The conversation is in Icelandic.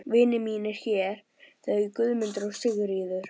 Vinir mínir hér, þau Guðmundur og Sigríður.